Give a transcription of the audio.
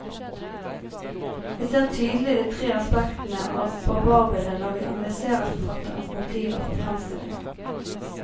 Vi ser tydelig de tre aspektene av barbarbildet når vi analyserer forfatterens motiver for fremstillingen.